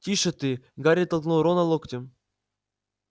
тише ты гарри толкнул рона локтем